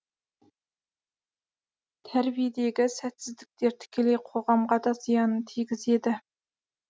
тәрбиедегі сәтсіздіктер тікелей қоғамға да зиянын тигізеді